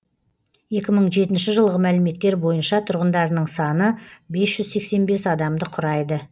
екі мың жетінші жылғы мәліметтер бойынша тұрғындарының саны бес жүз сексен бес адамды құрайды